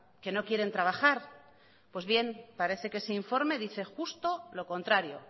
que no quieren trabajar pues bien parece que ese informe dice justo lo contrario